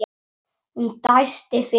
Hún dæsti fyrir framan hann.